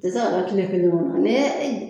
A tɛ se ka nka tile kelen bɔ